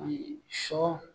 Ayi sɔ